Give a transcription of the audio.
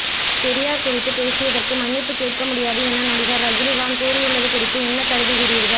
பெரியாா் குறித்துப் பேசியதற்கு மன்னிப்புக் கேட்க முடியாது என நடிகா் ரஜினிகாந்த் கூறியுள்ளது குறித்து என்ன கருதுகிறீா்கள்